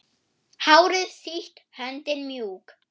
Hárið sítt, höndin mjúk.